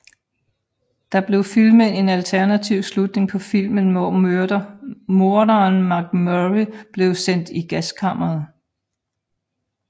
Der blev filmet en alternativ slutning på filmen hvor morderen MacMurray blev sendt i gaskammeret